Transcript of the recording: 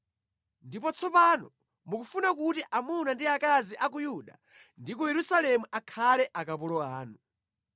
Ndipo tsopano mukufuna kuti amuna ndi akazi a ku Yuda ndi ku Yerusalemu akhale akapolo anu.